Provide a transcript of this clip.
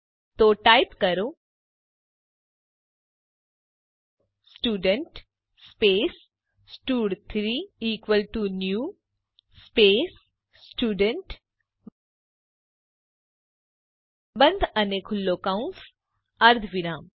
તો ટાઈપ કરો student space સ્ટડ3 equal to new space student બંધ અને ખુલ્લો કૌંસ અર્ધવિરામ